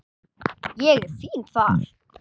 Ég er fínn þar.